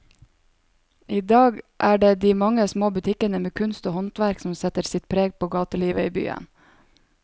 I dag er det de mange små butikkene med kunst og håndverk som setter sitt preg på gatelivet i byen.